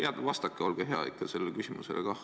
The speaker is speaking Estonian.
Jah, vastake, olge hea, ikka sellele küsimusele kah.